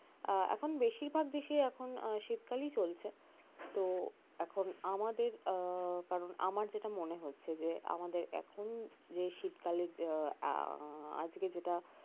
আহ এখন বেশিরভাগ দেশেই এখন শীতকালই চলছে তো এখন আমাদের আহ কারণ আমার যেটা মনে হচ্ছে যে আমাদের এখন যে শীতকালের আহ আজকে যেটা